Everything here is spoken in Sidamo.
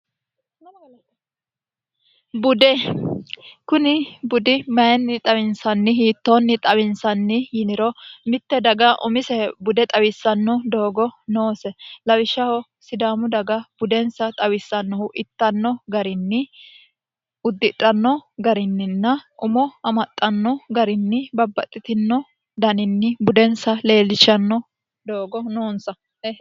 bude kuni budi mayinni xawinsanni hiittoonni xawinsanni yiniro mitte daga umise bude xawissanno doogo noose lawishshaho sidaamu daga budensa xawissannohu ittanno garinni uddidhanno garinninna umo amaxxanno garinni babbaxxitino daninni budensa leellishanno doogo noonsa